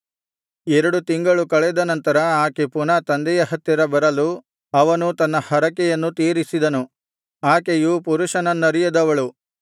ಎರಡು ತಿಂಗಳು ಕಳೆದ ನಂತರ ಆಕೆ ಪುನಃ ತಂದೆಯ ಹತ್ತಿರ ಬರಲು ಅವನು ತನ್ನ ಹರಕೆಯನ್ನು ತೀರಿಸಿದನು ಆಕೆಯು ಪುರುಷನನ್ನರಿಯದವಳು